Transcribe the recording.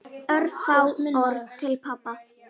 Örfá orð til pabba.